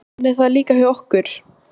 Þannig er það líka hjá okkur.